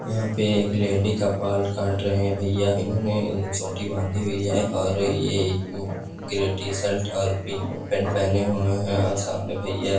यहा पे एक लेडी का बाल काट रहे है भैया उन्होने चोटी बांधी हुई है और ये ग्रे टी-शर्ट और पिंक पैंट पहने हुए है सामने भैया।